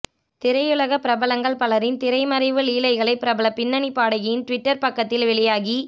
திரையுலக பிரபலங்கள் பலரின் திரைமறைவு லீலைகளை பிரபல பின்னணி பாடகியின் டுவிட்டர் பக்கத்தில் வெளியாகி